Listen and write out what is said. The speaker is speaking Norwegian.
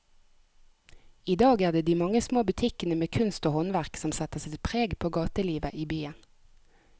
I dag er det de mange små butikkene med kunst og håndverk som setter sitt preg på gatelivet i byen.